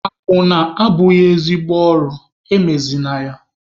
Akwụna abụghị ezigbo ọrụ, emezịna ya!